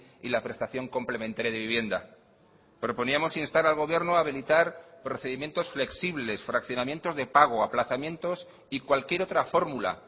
y la prestación complementaria de vivienda proponíamos instar al gobierno habilitar procedimientos flexibles fraccionamientos de pago aplazamientos y cualquier otra fórmula